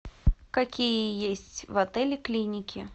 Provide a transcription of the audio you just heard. какие есть в отеле клиники